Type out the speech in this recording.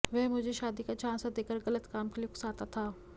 वह मुझे शादी का झांसा देकर गलत काम के लिए उकसाता था